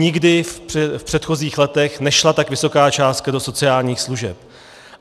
Nikdy v předchozích letech nešla tak vysoká částka do sociálních služeb.